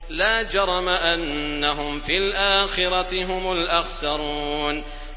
لَا جَرَمَ أَنَّهُمْ فِي الْآخِرَةِ هُمُ الْأَخْسَرُونَ